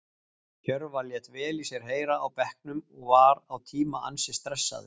Hjörvar lét vel í sér heyra á bekknum og var á tíma ansi stressaður.